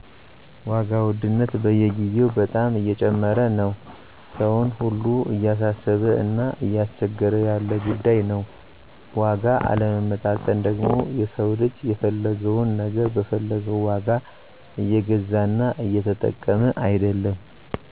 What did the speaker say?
ዋጋ ውድነት በየግዜው በጣም እየጨመረ ነው ሰውን ሁሉ እያሳሰበ እና እያስቸገረ ያለ ጉዳይ ነው። ዋጋ አለመመጣጠን ደግሞ የሰው ልጅ የፈለገውን ነገር በፈለገው ዋጋ እየገዛና እየተጠቀመ አይደለም